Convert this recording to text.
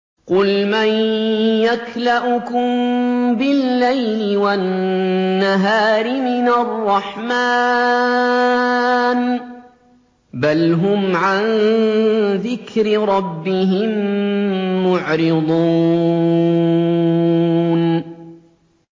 قُلْ مَن يَكْلَؤُكُم بِاللَّيْلِ وَالنَّهَارِ مِنَ الرَّحْمَٰنِ ۗ بَلْ هُمْ عَن ذِكْرِ رَبِّهِم مُّعْرِضُونَ